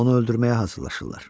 Onu öldürməyə hazırlaşırlar.